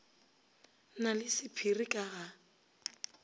na le sephiri ka ga